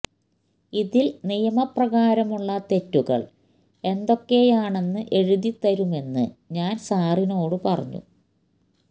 ഇതിൽ നിയമപ്രകാരമുള്ള തെറ്റുകൾ എന്തൊക്കെയാണെന്ന് എഴുതി തരുമെന്ന് ഞാൻ സാറിനോടു പറഞ്ഞു